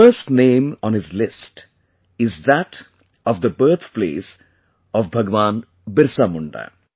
The first name on his list is that of the birthplace of Bhagwan Birsa Munda